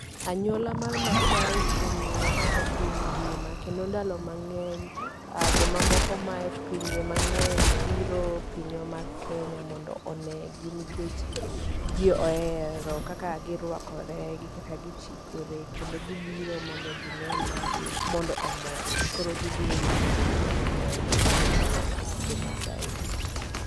Anyuola mar Masai ong'ere e piny ngima kendo ndalo mang'eny jo mamoko maaye pinje mang'eny biro pinywa mar Kenya mondo onegi nikech ji ohero kaka girwakore gi kaka gichikore kendo gibiro mondo gine magi mondo omorgi. Koro gibiro limbe mondo omorgi ka gineno jo Masai gi